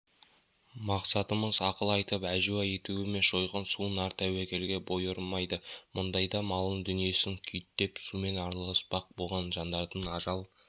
мақсатымыз ақыл айтып әжуа ету емес жойқын су нар тәуекелге бой ұрмайды мұндайда малын дүниесін күйттеп сумен арпалыспақ болған жандардың ажал